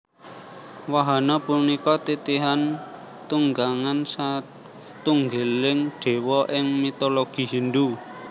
Wahana punika titihan tunggangan satunggiling Déwa ing mitologi Hindhu